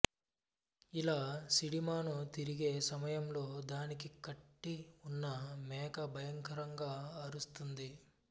ఇలా సిడిమాను తిరిగే సమయంలో దానికి కట్టి వున్న మేక భయంకరంగా ఆరుస్తుంది